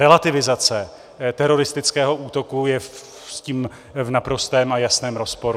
Relativizace teroristického útoku je s tím v naprostém a jasném rozporu.